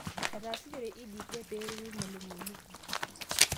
Entaasishore EdTech peeretu irmalimuni.